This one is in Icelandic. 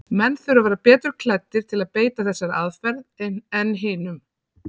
Menn þurfa að vera betur klæddir til að beita þessari aðferð en hinum.